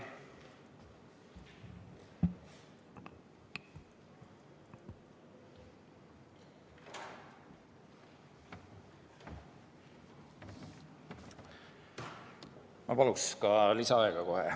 Ma palun ka kohe lisaaega.